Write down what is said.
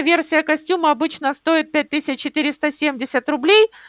версия костюма обычно стоит пять тысяч четыреста семьдесят рублей